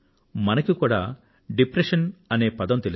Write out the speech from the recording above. మనకి కూడా డిప్రెషన్ అనే పదం తెలుసు